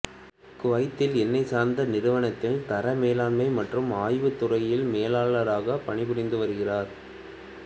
குவைத்தில் எண்ணெய் சார்ந்த நிறுவனத்தில் தர மேலாண்மை மற்றும் ஆய்வுத் துறையில் மேலாளராகப் பணி புரிந்து வருகிறார்